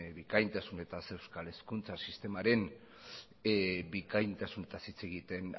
bikaintasunetaz euskal hezkuntza sistemaren bikaintasunetaz hitz egiten